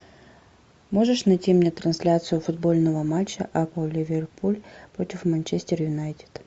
можешь найти мне трансляцию футбольного матча апл ливерпуль против манчестер юнайтед